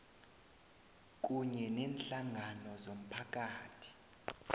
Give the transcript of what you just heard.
kunye neenhlangano zomphakathi